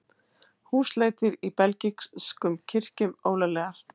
Húsleitir í belgískum kirkjum ólöglegar